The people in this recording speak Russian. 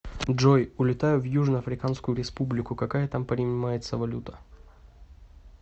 джой улетаю в южно африканскую республику какая там принимается валюта